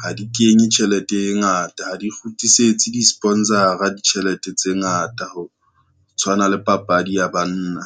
ha di kenye tjhelete e ngata, ha di kgutlisetse di-sponsor-a ditjhelete tse ngata ho tshwana le papadi ya banna.